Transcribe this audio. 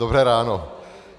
Dobré ráno.